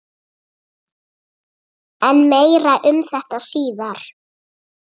En meira um þetta síðar.